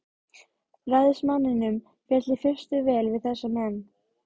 Ræðismanninum féll í fyrstu vel við þessa menn.